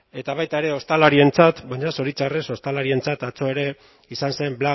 eta baita ere ostalarientzat baina zoritxarrez ostalarientzat atzo ere izan zen